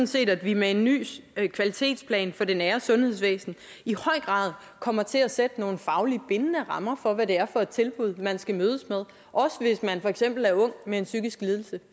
set at vi med en ny kvalitetplan for det nære sundhedsvæsen i høj grad kommer til at sætte nogle fagligt bindende rammer for hvad det er for et tilbud man skal mødes med også hvis man for eksempel er ung med en psykisk lidelse